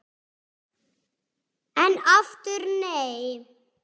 En aftur nei!